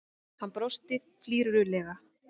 Hann brosti flírulega.